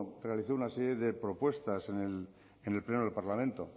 realizó una serie de propuestas en el pleno del parlamento